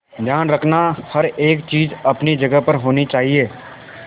ध्यान रखना हर एक चीज अपनी जगह पर होनी चाहिए